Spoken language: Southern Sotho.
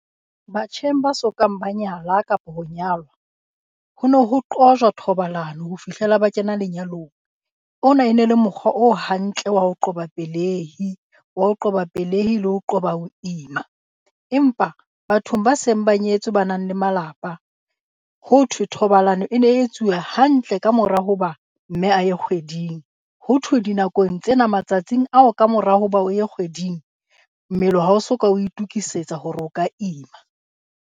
Batjheng ba sokang ba nyala kapa ho nyalwa ho no ho qojwa thobalano ho fihlela ba kena lenyalong. Ona e ne le mokgwa o hantle wa ho qoba pelehi, wa ho qoba pelehi le ho qoba ho ima. Empa bathong ba seng ba nyetswe ba nang le malapa, ho thwe thobalano e ne e etsuwa hantle kamora hoba mme a ye kgweding. Ho thwe dinakong tsena matsatsing ao ka mora hoba o ye kgweding mmele wa ha o so ka o itokisetsa hore o ka ima.